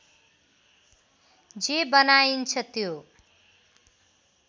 जे बनाइन्छ त्यो